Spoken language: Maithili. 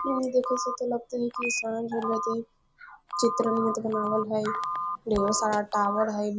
इ में देखे से ते लगता हेय इ साँझ हो रहा ते चित्र बनावल हेय ढेर सारा टॉवर हेय।